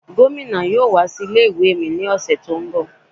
Gomina yóò wá sí ilé ìwé mi lọ́sẹ̀ tó ń bọ̀.